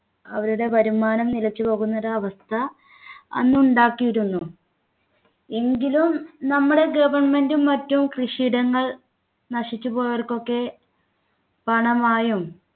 അവരുടെ വരുമാനം നിലച്ചു പോകുന്ന ഒരു അവസ്ഥ അന്ന് ഉണ്ടാക്കിയിരുന്നു എങ്കിലും നമ്മുടെ government ഉം മറ്റും കൃഷിയിടങ്ങൾ നശിച്ചുപോയവർക്കൊക്കെ പണമായും